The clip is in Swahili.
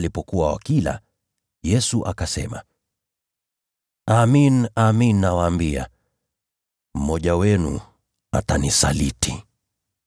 Nao walipokuwa wakila, Yesu akasema, “Amin, nawaambia, mmoja wenu atanisaliti.”